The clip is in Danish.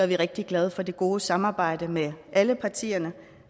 vi rigtig glade for det gode samarbejde med alle partierne